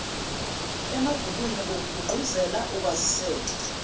emabhukwini ngokugqugquzela ukwaziseka